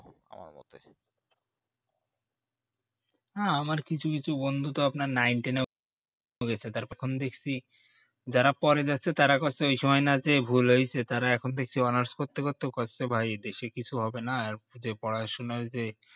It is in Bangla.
না আমার কিছু কিছু বন্ধুতো nineteen ও পড়েছে তখন দেখছি যারা পড়ে যাচ্ছে তারা করছে ওই সময় না যে ভুল হয়েছে তারা এখন দেখছে honours করতে করতেও করছে ভাই এই দেশে কিছু হবে না আর পড়াশোনা যে